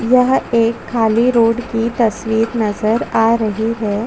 बायीं तरफ जाने के लिए --